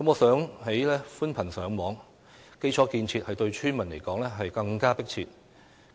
相較於寬頻上網，基礎建設對村民來說有更為迫切的需求。